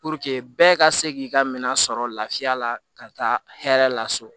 bɛɛ ka se k'i ka minɛn sɔrɔ lafiya la ka taa hɛrɛ la so